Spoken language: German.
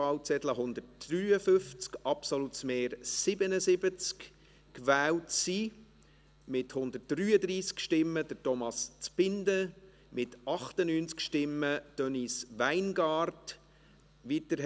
Ich bitte Herrn Bürki, nach vorne zu treten, und ich bitte alle im Saal, auch jene auf der Tribüne, für die Vereidigung aufzustehen.